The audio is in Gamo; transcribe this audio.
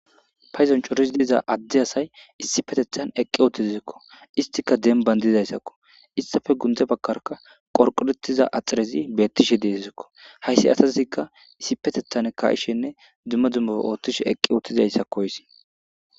payzon coris diiza adde asay issi petethan eqqi uottizzikko istika dem bandizayssakko istafe gunte bakarka qorqorettiza axirezi beettishe deessikko hayssi asazikka issi petethan ka7ishenne dumma dummofe oothtishe eqqi ootizayssakkoysi